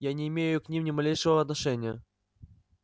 я не имею к ним ни малейшего отношения